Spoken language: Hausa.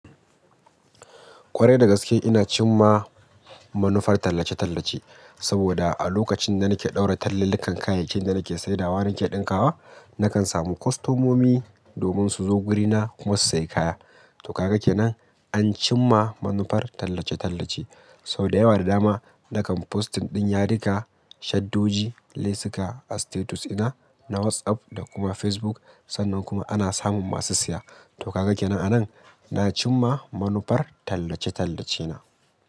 Kwarai da gaske ina cimma manufar tallace-tallace saboda a lokacin da nake ɗaura tallalikan kayayyakin da nake saidawa nake ɗinkawa nakan samu kostomomi domin suzo gurina kuma su sayi kaya. To kaga kenan an cimma manufar tallace-tallace sauda yawa da dama nakan postin ɗin yadika shaddoji lesuka a status dina na WhatsApp da kuma Facebook sannan kuma ana samun masu siya. To kaga kenan a nan na cimma manufar tallace-tallace na.